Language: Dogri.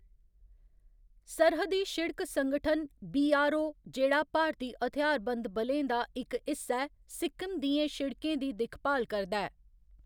सरहदी शिड़क संगठन, बी.आर.ओ, जेह्‌‌ड़ा भारती हथ्यारबंद बलें दा इक हिस्सा ऐ, सिक्किम दियें शिड़कें दी दिक्ख भाल करदा ऐ।